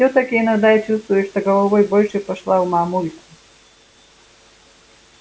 всё-таки иногда я чувствую что головой больше пошла в мамульку